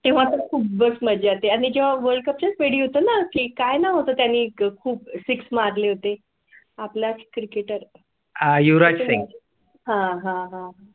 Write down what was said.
तेव्हा खूप बस मध्ये आणि जेव्हा world cup काय ला होता त्यांनी खूप six मारले होते आपल्या cricketer. . हां, हां हां.